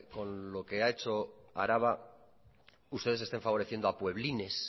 con lo que ha hecho araba ustedes estén favoreciendo a pueblines